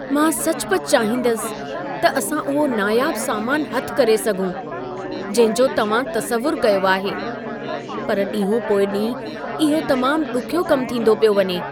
मां सचुपचु चाहींदसि त असां उहो नायाबु सामानु हथि करे सघूं, जंहिं जो तव्हां तसवुरु कयो आहे। पर ॾींहो पोइ ॾींहुं इहो तमामु ॾुखियो कमु थींदो पियो वञे।